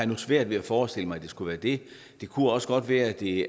nu svært ved at forestille mig at der skulle være det kunne også godt være at det